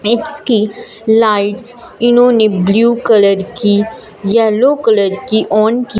इसकी लाइट्स इन्होंने blue colour की येलो कलर की ऑन की--